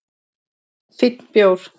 Fínn bjór